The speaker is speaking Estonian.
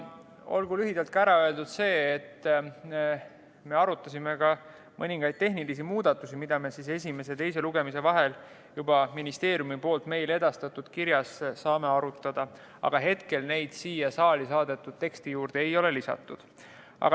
Olgu lühidalt ära öeldud, et me arutasime mõningaid tehnilisi muudatusi, mida me esimese ja teise lugemise vahel juba ministeeriumilt meile edastatud kirja põhjal saame arutada, aga hetkel neid siia saali saadetud teksti juurde ei ole lisatud.